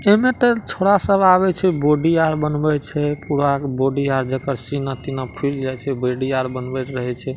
एमे त छोड़ा सब आवे छै बॉडी बनबे छै छोरा के बॉडी सीना-तीना फूल जाए छै बॉडी बनबे छै।